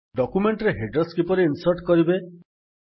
document ରେ headers କିଭଳି insert କରିବେ